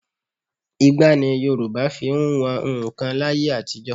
Igbá ni Yorùbá fi ń wọn nnkan láyé àtijọ́